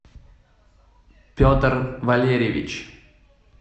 петр валерьевич